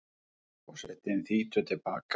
Forsetinn þýtur til baka.